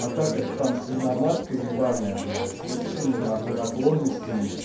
атака это там свиноматка ебанная блять с мужскими на хуй наклонностями